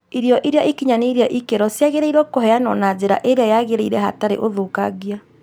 irio iria ikinyanĩirie ikĩro ciagĩrĩrwo kũheanwo na njira ĩrĩa yagĩrĩire hatarĩ ũthũkangia